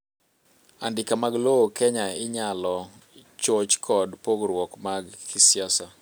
andika mag lowo Kenya inyalo choch kod pogruok mag kisiasa